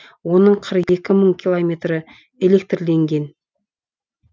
оның қырық екі мың километрі электрленген